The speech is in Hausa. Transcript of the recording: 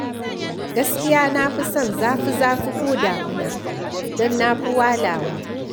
Gaskiya na fi son zafi-zafi ko damuna, don na fi walawa.